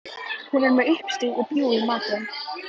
Hún er með uppstúf og bjúgu í matinn.